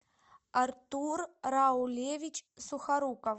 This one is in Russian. артур раулевич сухоруков